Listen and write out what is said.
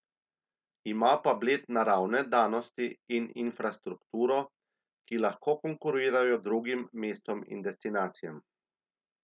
Ima pa Bled naravne danosti in infrastrukturo, ki lahko konkurirajo drugim mestom in destinacijam.